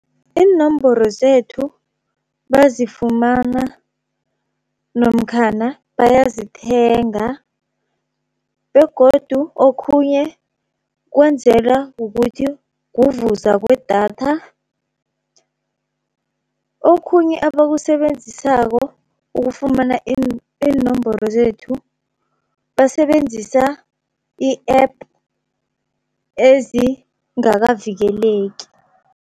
Iinomboro zethu bazifumana namkhana bayazithenga, begodu okhunye kwenzela kukuthi kuvuza kwedatha. Okhunye abakusebenzisako ukufumana iinomboro zethu basebenzisa i-App ezingakavikeleki.